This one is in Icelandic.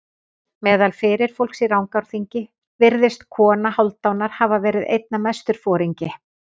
Meðal fyrirfólks í Rangárþingi virðist kona Hálfdanar hafa verið einna mestur foringi.